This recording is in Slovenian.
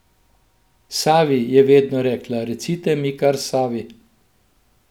Savi, je vedno rekla, recite mi kar Savi.